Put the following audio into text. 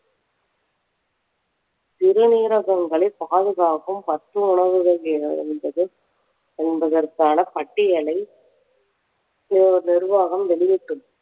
சிறுநீரகங்களை பாதுகாக்கும் பத்து உணவுகள் எவை என்பதை என்பதற்கான பட்டியலை நிர்வாகம் வெளியிட்டுள்ளது